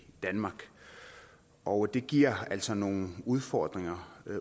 danmark og det giver altså nogle udfordringer